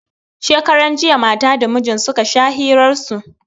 Shekaran jiya matan da mijin da suka sha hiran su.